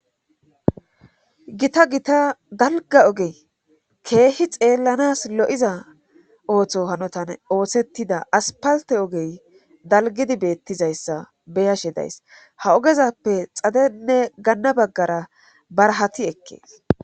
Gita gita dalga oge keehi xeellanas lo'iza ooththo hanotan oosettida aspalte ogey dalgidi beettizayssa beyashe days ha ogezappe xadenne ganna baggara barahati ekkees.